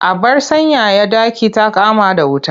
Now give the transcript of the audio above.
Abar sanyaya ɗaki ta kama da wuta.